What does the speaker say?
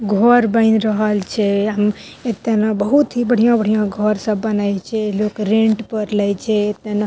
घर बनी रहल छे। हम एते में बहुत बढ़ियां-बढ़ियां घर सब बनल छे लोग रेंट पर लेइ छे। एते न --